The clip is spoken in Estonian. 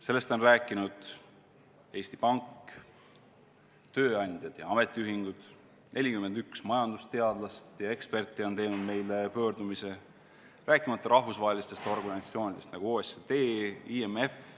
Sellest on rääkinud Eesti Pank, tööandjad ja ametiühingud, 41 majandusteadlast ja eksperti on teinud meie poole pöördumise, rääkimata rahvusvahelistest organisatsioonidest, nagu OECD ja IMF.